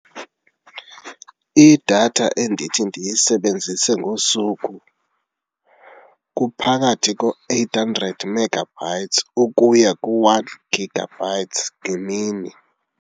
Idatha endithi ndiyisebenzise ngosuku kuphakathi ko-eight hundred megabytes ukuya ku-one gigabytes ngemini.